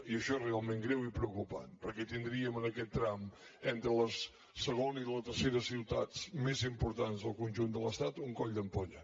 i això és realment greu i preocupant perquè tindríem en aquest tram entre la segona i la tercera ciutats més importants del conjunt de l’estat un coll d’ampolla